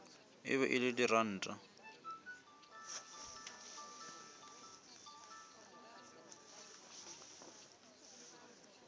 e be e le diranta